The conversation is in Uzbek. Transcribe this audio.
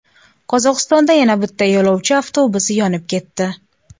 Qozog‘istonda yana bitta yo‘lovchi avtobusi yonib ketdi.